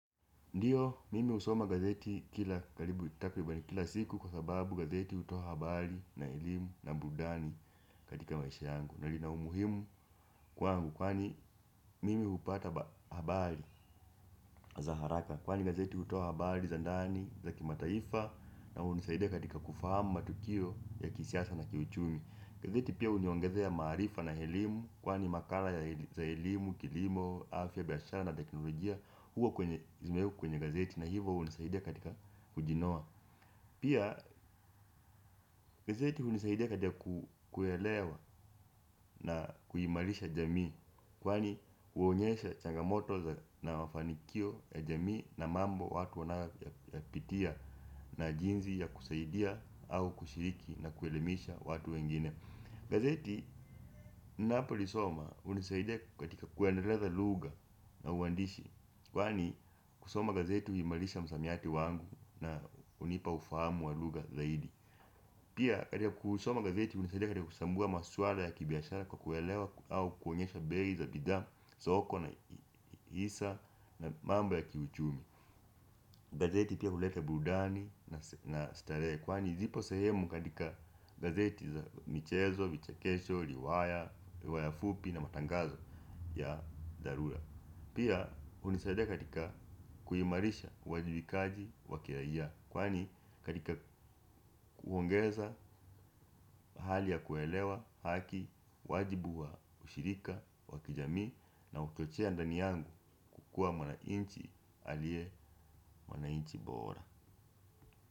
Ndiyo mimi husoma gazeti kila karibu takiribani kila siku kwa sababu gazeti hutoa habari na elimu na burudani katika maisha yangu. Na lina umuhimu kwangu kwani mimi hupata habari za haraka kwani gazeti hutoa habari za ndani za kimataifa na hunisaidia katika kufahamu matukio ya kisiasa na kiuchumi gazeti pia huniongezea ya maarifa na helimu kwani makala ya, za elimu, kilimo, afya, biashara na teknolojia huwa kwenye, zimewekwa kwenye gazeti na hivo hunisaidia katika kujinoa pia gazeti hunisaidia katika kuelewa na kuimarisha jamii kwani huonyesha changamoto za, na mafanikio ya jamii na mambo watu wanayoyapitia na jinzi ya kusaidia au kushiriki na kuelimisha watu wengine. Gazeti ninapolisoma hunisaidia katika kuendeleza luga na uwandishi kwani kusoma gazeti huimarisha msamiati wangu na hunipa ufahamu wa luga zaidi. Pia katika kusoma gazeti hunisaidia katika kusambua maswala ya kibiashara kwa kuelewa au kuonyesha bei za bidhaa soko na hisa na mambo ya kiuchumi gazeti pia huleta burudani na starehe. Kwani zipo sehemu katika gazeti za michezo, vichekesho, riwaya, riwaya fupi na matangazo ya dharura. Pia hunisaidia katika kuimarisha uwajibikaji wakiraia kwani katika kuongeza hali ya kuelewa haki wajibu wa ushirika wakijamii na uchochea ndani yangu kukua mwanainchi alie mwanainchi bora.